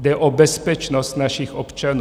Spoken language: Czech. Jde o bezpečnost našich občanů.